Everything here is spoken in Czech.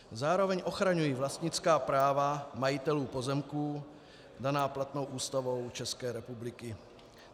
Zároveň ochraňují vlastnická práva majitelů pozemků daná platnou Ústavou České republiky.